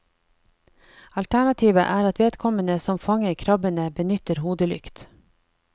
Alternativet er at vedkommende som fanger krabbene, benytter hodelykt.